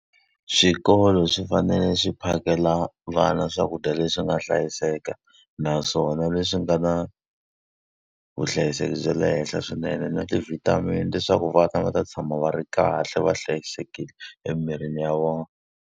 Swikolo swi fanele swi phakela vana swakudya leswi nga hlayiseka, naswona leswi nga na vuhlayiseki bya le henhla swinene na ti-vitamin. Leswaku vana va ta tshama va ri kahle va hlayisekile emirini ya vona.